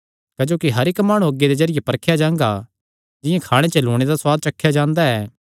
क्जोकि हर इक्क माणु अग्गी दे जरिये परखेया जांगा जिंआं खाणे च लूणै दा सुआद चखेया जांदा ऐ